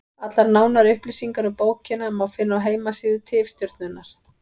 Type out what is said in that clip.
Allar nánari upplýsingar um bókina má finna á heimasíðu Tifstjörnunnar.